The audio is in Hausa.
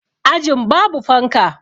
Ajin babu fanka